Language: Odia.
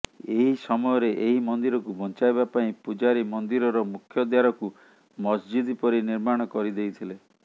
ଏହି ସମୟରେ ଏହି ମନ୍ଦିରକୁ ବଞ୍ଚାଇବା ପାଇଁ ପୂଜାରୀ ମନ୍ଦିରର ମୁଖ୍ୟଦ୍ୱାରକୁ ମସଜିଦ୍ ପରି ନିର୍ମାଣ କରିଦେଇଥିଲେ